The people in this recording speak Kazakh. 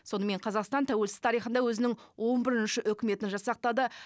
сонымен қазақстан тәуелсіз тарихында өзінің он бірінші үкіметін жасақтады